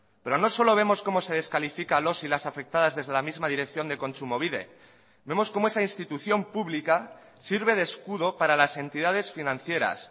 pero no solo vemos cómo se descalifica a los y las afectadas desde la misma dirección de kontsumobide vemos cómo esa institución pública sirve de escudo para las entidades financieras